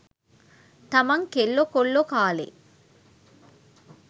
තමන් කෙල්ලෝ කොල්ලෝ කාලේ